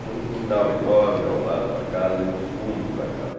Tinha um quintal enorme ao lado da casa e nos fundos da casa.